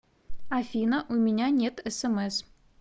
афина у меня нет смс